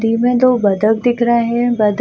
नदी मे दो बत्तख दिख रहे है बत्तख --